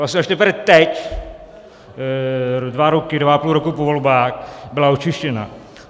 Vlastně až teprve teď dva roky, dva a půl roku po volbách byla očištěna.